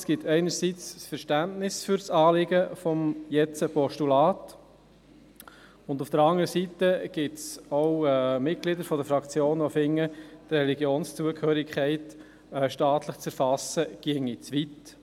Es gibt einerseits Verständnis für das Anliegen des Postulats, andererseits gibt es auch Mitglieder in der Fraktion, welche finden, eine staatliche Erfassung der Religionszugehörigkeit gehe zu weit.